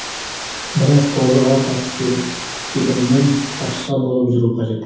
бірақ қозыға таз кебінімен тазша болып жүру қажет болады